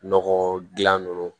Nɔgɔ dilan ninnu